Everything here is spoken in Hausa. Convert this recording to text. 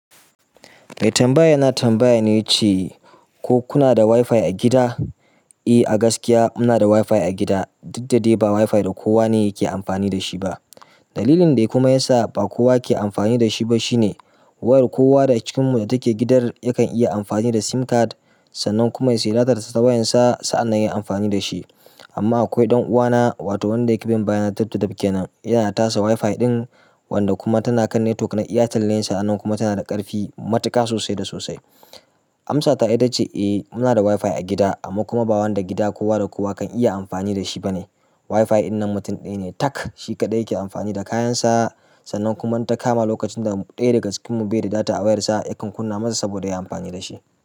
Mai tambaya na tambaya ne ce ko kuna da Wifi a gida? Eh, a gaskiya muna da WiFi a gida, duk dadai ba WiFi da kowa ne yake amfani da shi ba. Dalilin da kuma yasa ba kowa ke amfani da shi ba shine, wayar kowa daga cikinmu da take gidan yakan iya amfani da sim card, sannan kuma ya siyar data ta wayarsa sa'an nan ya yi amfani da shi. Amma akwai ɗan'uwana, wato wanda yake bin bayanan daf da daf ke nan, yanada tasa WiFi ɗin, wanda kuma tana kan network na airtel ne sa'annan kuma tana da ƙarfi matuƙa sosai da sosai. Amsata ita ce eh muna da WiFi a gida, amma kuma ba wanda gida ko wa da kowa kan iya amfani da shi ba ne. WiFi ɗin na mutum ɗaya ne tak, shi kaɗai yake amfani da kayansa. Sannan kuma in takama, lokacin da ɗaya daga cikinmu bai da data a wayarsa, yakan kunna masa saboda ya yi amfani da shi.